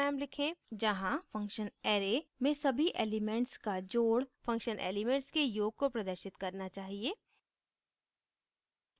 जहाँ function array में सभी elements का जोड़ function elements के योग को प्रदर्शित करना चाहिए